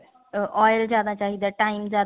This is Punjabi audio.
ਅਹ oil ਜਿਆਦਾ ਚਾਹੀਦਾ time ਜਿਆਦਾ